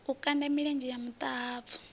o kanda milenzhe ya muṱahabvu